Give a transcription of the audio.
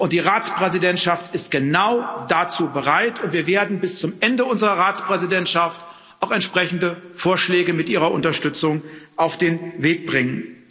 Die Ratspräsidentschaft ist genau dazu bereit, und wir werden bis zum Ende unserer Ratspräsidentschaft auch entsprechende Vorschläge mit Ihrer Unterstützung auf den Weg bringen.